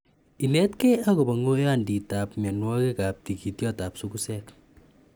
inet kei akopa ngoiyantitap mianwokik ap tigityotap sugusek